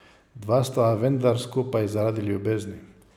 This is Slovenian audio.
Dva sta vendar skupaj zaradi ljubezni.